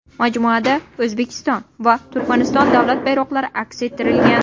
Majmuada O‘zbekiston va Turkmaniston davlat bayroqlari aks ettirilgan.